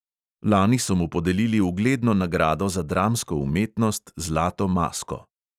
Lani so mu podelili ugledno nagrado za dramsko umetnost zlato masko.